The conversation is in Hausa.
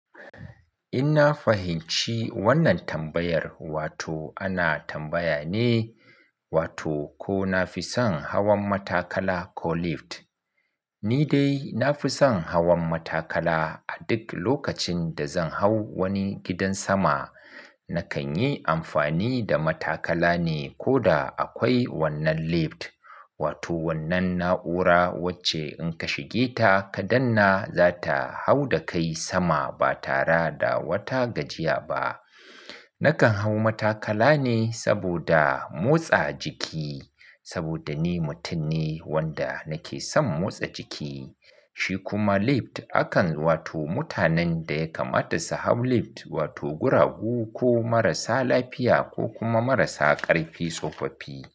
In na fahimci wannan tambayar wato ana tambaya ne wato ko na fi son hawan matakala ko lift. Ni dai na fi son hawan matakala. A duk lokacin da zan hau wani gidan sama, na kan yi amfani da matakala ne koda akwai wannan lift, wato wannan na'ura wacce in ka shige ta ka danna, za ta hau da kai sama ba tara da wata gajiya ba. Nakan hau matakala ne saboda motsa jiki, saboda ni mutum ne wanda nake son motsa jiki. Shi kuma lift akan, wato mutanen da ya kamata su hau lift wato guragu ko marasa lafiya ko kuma marasa ƙarfi tsofaffi.